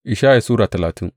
Ishaya Sura talatin